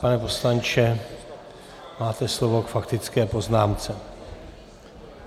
Pane poslanče, máte slovo k faktické poznámce.